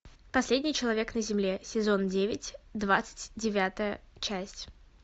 последний человек на земле сезон девять двадцать девятая часть